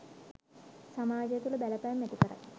සමාජය තුළ බලපෑම් ඇති කරයි